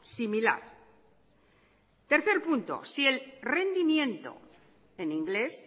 similar tercer punto si el rendimiento en inglés